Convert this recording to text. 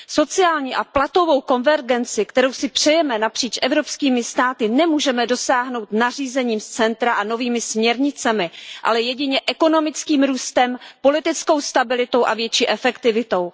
Sociální a platovou konvergenci, kterou si přejeme napříč evropskými státy, nemůžeme dosáhnout nařízením z centra a novými směrnicemi, ale jedině ekonomickým růstem, politickou stabilitou a větší efektivitou.